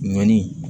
Ɲɔni